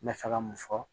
N bɛ fɛ ka mun fɔ